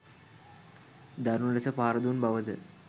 දරුණු ලෙස පහර දුන් බවද